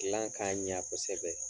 kilan ka ɲa kosɛbɛ.